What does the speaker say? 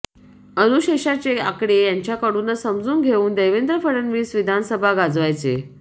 अनुशेषाचे आकडे यांच्याकडूनच समजून घेऊन देवेंद्र फडणवीस विधानसभा गाजवायचे